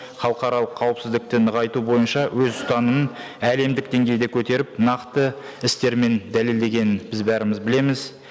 халықаралық қауіпсіздікті нығайту бойынша өз ұстанымын әлемдік деңгейде көтеріп нақты істермен дәлелдегенін біз бәріміз білеміз